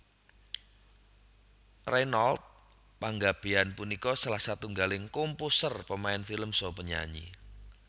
Reynold Panggabean punika salah setunggaling komposer pemain film saha penyanyi